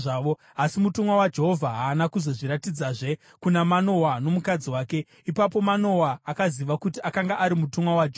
Asi mutumwa waJehovha haana kuzozviratidzazve kuna Manoa nomukadzi wake, ipapo Manoa akaziva kuti akanga ari mutumwa waJehovha.